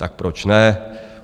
Tak proč ne?